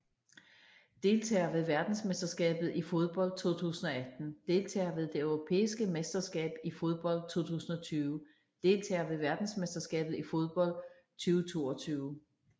Deltagere ved verdensmesterskabet i fodbold 2018 Deltagere ved det europæiske mesterskab i fodbold 2020 Deltagere ved verdensmesterskabet i fodbold 2022